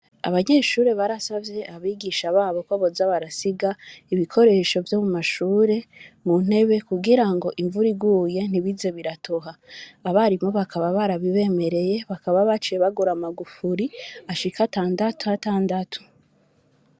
Abanyeshuri barasavye mwarimu wabo ko boza barasiga ibikoresho vyo mu mashuri mu ntebe kugirango imvura iguye ntibize biratoha abarimu bakaba barabibemereye bakaba baciye bagura amagufuri ashika atandatu atandatu.